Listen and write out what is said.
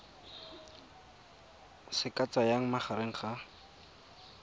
se ka tsayang magareng ga